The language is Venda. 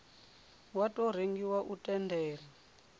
wa tou rengiwa u tendela